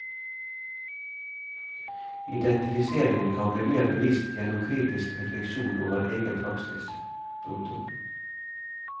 Identifiseringen kan bli mer bevisst gjennom kritisk refleksjon over egen praksis. punktum